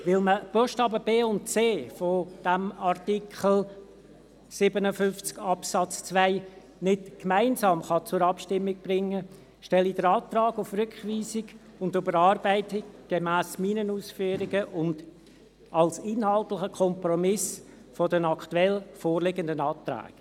Weil man die Buchstaben b und c des Artikels 57 Absatz 2 nicht gemeinsam zur Abstimmung bringen kann, stelle ich den Antrag auf Rückweisung und Überarbeitung gemäss meinen Ausführungen und als inhaltlicher Kompromiss zu den aktuell vorliegenden Anträgen.